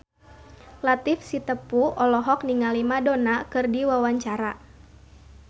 Latief Sitepu olohok ningali Madonna keur diwawancara